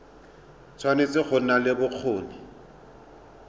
tshwanetse go nna le bokgoni